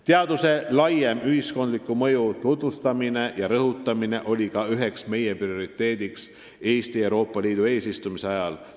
Teaduse laiema ühiskondliku mõju tutvustamine ja rõhutamine oli ka üks meie prioriteete Eesti Euroopa Liidu eesistumise ajal.